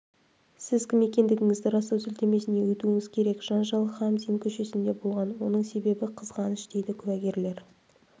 сіз кім екендігіңізді растау сілтемесіне өтуіңіз керек жанжал камзин көшесінде болған оның себебі қызғаныш дейді куәгерлер